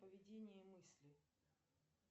поведение мысли